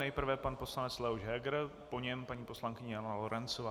Nejprve pan poslanec Leoš Heger, po něm paní poslankyně Jana Lorencová.